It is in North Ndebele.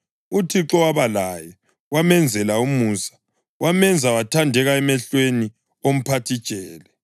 uThixo waba laye; wamenzela umusa wamenza wathandeka emehlweni omphathijele.